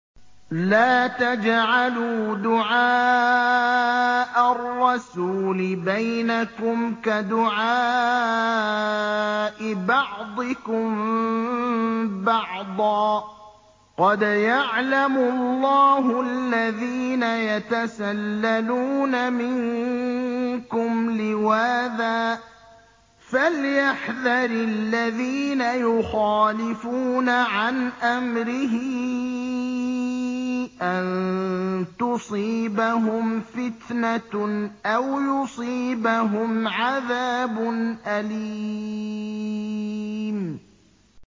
لَّا تَجْعَلُوا دُعَاءَ الرَّسُولِ بَيْنَكُمْ كَدُعَاءِ بَعْضِكُم بَعْضًا ۚ قَدْ يَعْلَمُ اللَّهُ الَّذِينَ يَتَسَلَّلُونَ مِنكُمْ لِوَاذًا ۚ فَلْيَحْذَرِ الَّذِينَ يُخَالِفُونَ عَنْ أَمْرِهِ أَن تُصِيبَهُمْ فِتْنَةٌ أَوْ يُصِيبَهُمْ عَذَابٌ أَلِيمٌ